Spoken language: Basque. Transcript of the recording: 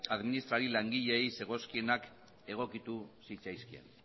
administrari langileei zegozkienak egokitu zitzaizkien